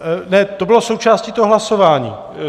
Ne, to bylo součástí toho hlasování.